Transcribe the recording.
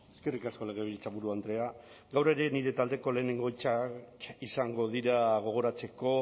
eskerrik asko legebiltzaburu andrea gaur ere nire taldeko lehenengo hitzak izango dira gogoratzeko